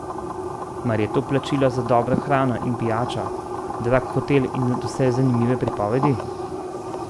Mar je to plačilo za dobro hrano in pijačo, drag hotel in nadvse zanimive pripovedi?